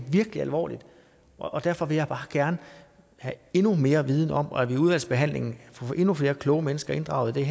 virkelig alvorligt og derfor vil jeg bare gerne have endnu mere viden og at vi i udvalgsbehandlingen får endnu flere kloge mennesker inddraget der